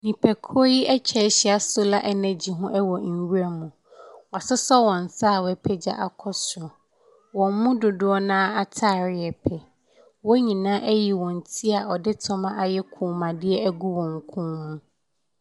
Nipa kuo ɛtwahyia wɔ solar energy ɛwɔ nwura mu wa soso wɔn nsa wa pagya kɔ soro wɔn mu dodoɔ na ataadeɛ yɛpɛ wɔn nyinaa ɛyɛ wɔn tire ɔdi tɔma ayɛ kɔn mu adeɛ ɛgu wɔn kɔn mu.